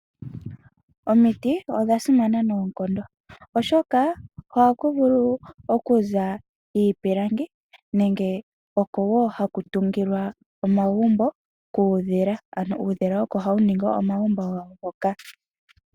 Omiti odha simana noonkondo, oshoka ohaku vulu okuza iipilangi nenge oko woo haku tungilwa omagumbo kuudhila ano uudhila oko hawu ningi omagumbo hoka.